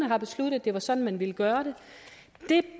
har besluttet at det var sådan man ville gøre det det